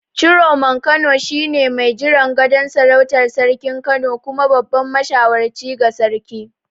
Ciroman Kano shine mai jiran gadon sarautar Sarkin Kano kuma babban mashawarci ga sarki.